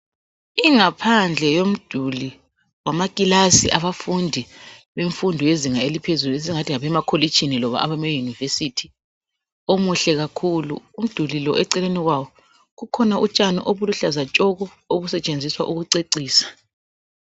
Ingaphandle yomduli wama kilasi abafundi bemfundo yezinga eliphezulu esingathi ngabema kolitshini kumbe loba abama University muhle kakhulu. Umduli lo eceleni kwawo kukhona utshani oluluhlaza tshoko obusetshenziswa ukucecisa